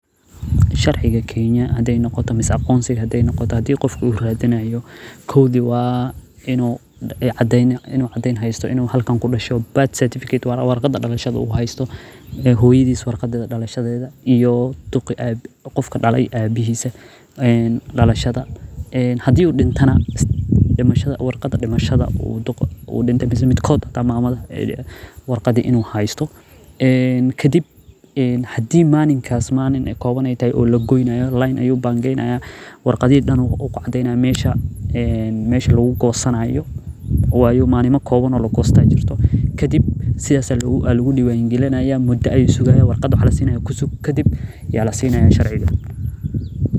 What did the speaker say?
Sharciga kenya mise aqonsiga hadii qof ui radinayo kowdi waa inuu cadeen haysto inuu halkan kudashe waana warqada dalashada hooyadisa warqadeeda, hadii uu dintana warqada inuu haysto, kadib leen ayuu bangeynaya, kadib warqadaha ayuu diibaya, kadib sidaas ayaa lagu diiban galiyo kadib ayaa lasinaya sharciga.